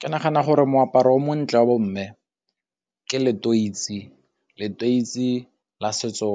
Ke nagana gore moaparo o montle wa bomme ke letoisi, letoisi la setso